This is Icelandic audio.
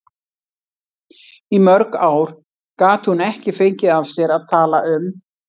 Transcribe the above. Í mörg ár gat hún ekki fengið af sér að tala um